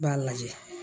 I b'a lajɛ